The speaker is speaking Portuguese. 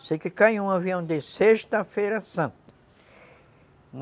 Sei que caiu um avião desse, sexta-feira santa.